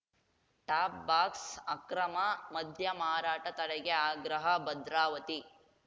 ಟಾಪ್‌ಬಾಕ್ಸ ಅಕ್ರಮ ಮದ್ಯ ಮಾರಾಟ ತಡೆಗೆ ಆಗ್ರಹ ಭದ್ರಾವತಿ